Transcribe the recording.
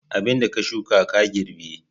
Abin da ka shuka ka girbi